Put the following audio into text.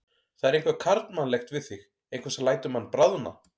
Það er eitthvað karlmannlegt við þig, eitthvað sem lætur mann bráðna.